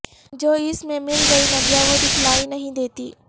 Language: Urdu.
جو اس میں مل گئی ندیاں وہ دکھلائی نہیں دیتی